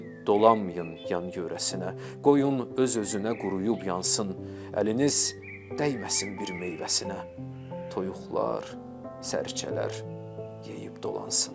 Dedi: dolanmayın yan-yörəsinə, qoyun öz-özünə quruyub yansın, əliniz dəyməsin bir meyvəsinə, toyuqlar, sərçələr yeyib dolansın.